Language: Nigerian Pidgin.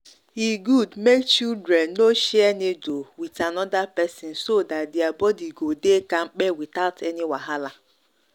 e good make children no share needle with another person so that their body go dey kampe without any wahala.